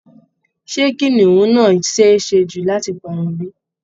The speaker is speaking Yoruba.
Ṣé kìnnìún náà ṣeé ṣe jù láti parun bí?